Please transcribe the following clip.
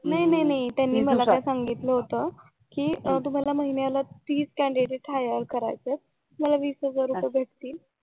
नाही नाही नाही त्यांनी मला काय सांगितलं होत कि तुम्हाला महिन्याला तीस कॅन्डीडेट hire करायचेत तुम्हाला वीस हजार रुपये भेटतील